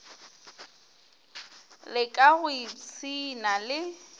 le ka go ipshina le